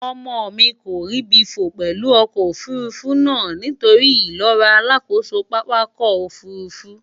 Omo mi ko ribi fo pelu oko ofurufu na nitori ilora alakoso papako ofurufu.